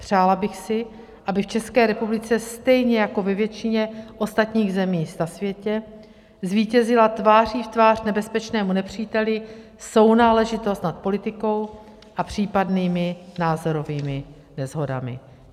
Přála bych si, aby v České republice, stejně jako ve většině ostatních zemích na světě, zvítězila tváří v tvář nebezpečnému nepříteli sounáležitost nad politikou a případnými názorovými neshodami.